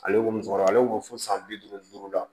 Ale ko musokɔrɔba ale y'o fɔ san bi duuru ni duuru la